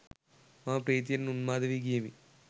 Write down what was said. මම ප්‍රීතියෙන් උන්මාද වී ගියෙමි